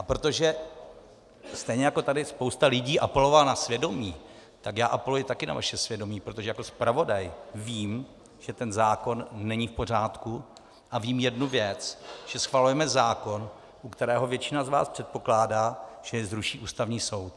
A protože, stejně jako tady spousta lidí apelovala na svědomí, tak já apeluji také na vaše svědomí, protože jako zpravodaj vím, že ten zákon není v pořádku, a vím jednu věc, že schvalujeme zákon, u kterého většina z vás předpokládá, že jej zruší Ústavní soud.